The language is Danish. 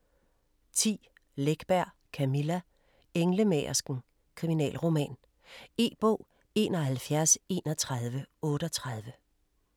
10. Läckberg, Camilla: Englemagersken: kriminalroman E-bog 713138